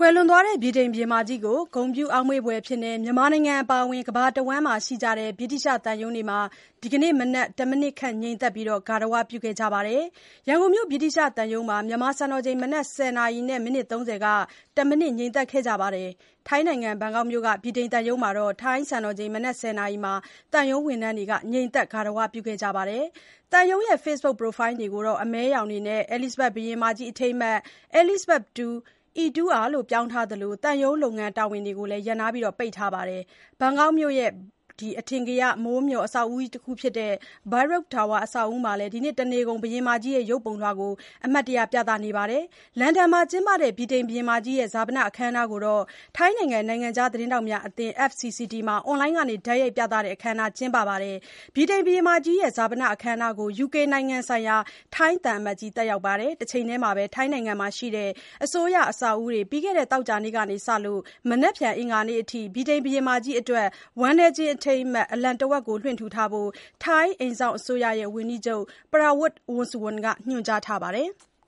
ွယ်လွန်သွားတဲ့ ဗြိတိန်ဘုရင်မကြီးကို ဂုဏ်ပြုအောက်မေ့ဘွယ်အဖြစ် မြန်မာနိုင်ငံအပါအဝင် ကမ္ဘာတဝှမ်းမှာရှိတဲ့ ဗြိတိလျှသံရုံးတွေမှာ ဒီနေ့မနက် တမိနစ်ခန့် ငြိမ်သက် ဂါရဝပြု ကြပါတယ်။ ရန်ကုန်မြို့ ဗြိတိလျှသံရုံးမှာ မြန်မာစံတော်ချိန် မနက် ၁၀ နာရီ မိနစ် ၃၀ က တမိနစ်ငြိမ်သက်ခဲ့ကြပြီး ထိုင်းနိုင်ငံ ဘန်ကောက်မြို့ ဗြိတိန်သံရုံးမှာတော့ ထိုင်း စံတော်ချိန် မနက် ၁၀ နာရီမှာ သံရုံး ဝန်ထမ်းတွေ ငြိမ်သက် ဂါရဝပြုကြပါတယ်။ သံရုံးရဲ့ Facebook Profile ပုံတွေကို အမဲရောင်တွေနဲ့ အဲလိဇ္ဇဘက်ဘုရင်မကြီး အထိမ်းအမှတ် E(Two)R လို့ ပြောင်းထားသလို သံရုံးလုပ်ငန်းတာဝန်တွေကို ရပ်နားပြီး ပိတ်ထားပါတယ်။ ထိုင်းနိုင်ငံ ဘန်ကောက်မြို့ အထင်ကရ မိုးမျှော်အဆောက်အဦးတခုဖြစ်တဲ့ Baiyoke Tower အဆောက်အဦးမှာလည်း ဒီနေ့ တနေ့ကုန် ဘုရင်မကြီးရဲ့ရုပ်ပုံကို အမှတ်တရ ပြသပါတယ်။ လန်ဒန်မှာကျင်းပတဲ့ ဗြိတိန်ဘုရင်မကြီးရဲ့ ဈာပနအခမ်းအနားကို ထိုင်းနိုင်ငံ နိုင်ငံခြားသတင်းထောက်များ အသင်း FCCT မှာ အွန်လိုင်းက တိုက်ရိုက်ပြသတဲ့ အခမ်းအနားကျင်းပပါတယ်။ ဗြိတိန်ဘုရင်မကြီးရဲ့ ဈာပနအခမ်းအနားကို UK နိုင်ငံဆိုင်ရာ ထိုင်းသံအမတ်ကြီး တက်ရောက်ပါတယ်။ တချိန်တည်းမှာ ထိုင်းနိုင်ငံမှာရှိတဲ့ အစိုးရအဆောက်အဦးတွေ ပြီးခဲ့တဲ့ သောကြာနေ့ကစပြီး မနက်ဖြန် အဂါၤနေ့အထိ ဗြိတိန်ဘုရင်မကြီးအတွက် ဝမ်းနည်းခြင်းအထိမ်းအမှတ် အလံတဝက်လွှင့်ဖို့ ထိုင်း အိမ်စောင့်အစိုးရဝန်ကြီးချုပ် Prawit Wongsuwon က ညွှန်ကြားထားပါတယ်။